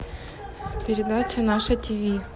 передача наше тв